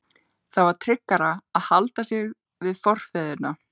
Það var tryggara að halda sig við forfeðurna.